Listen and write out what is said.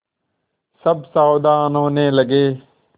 सब सावधान होने लगे